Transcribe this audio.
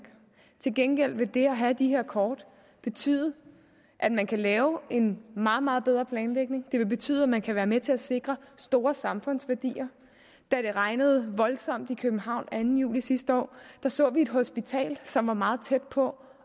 til gengæld vil det at have de her kort betyde at man kan lave en meget meget bedre planlægning det vil betyde at man kan være med til at sikre store samfundsværdier da det regnede voldsomt i københavn anden juli sidste år så vi et hospital som var meget tæt på